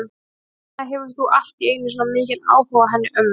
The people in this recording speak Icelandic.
Hvers vegna hefur þú allt í einu svona mikinn áhuga á henni ömmu?